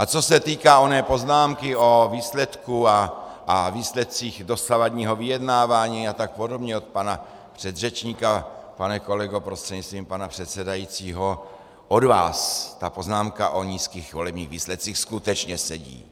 A co se týká oné poznámky o výsledku a výsledcích dosavadního vyjednávání a tak podobně od pana předřečníka - pane kolego prostřednictvím pana předsedajícího, od vás ta poznámka o nízkých volebních výsledcích skutečně sedí.